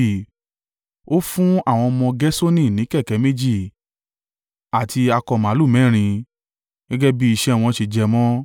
Ó fún àwọn ọmọ Gerṣoni ní kẹ̀kẹ́ méjì àti akọ màlúù mẹ́rin, gẹ́gẹ́ bí iṣẹ́ wọn ṣe jẹ mọ́.